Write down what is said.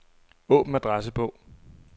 Åbn adressebog.